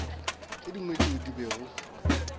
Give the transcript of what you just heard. tše dingwe tšeo di bego